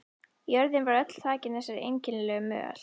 Jörðin var öll þakin þessari einkennilegu möl.